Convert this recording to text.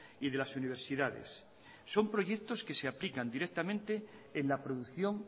y de las universidades son proyectos que se aplican directamente en la producción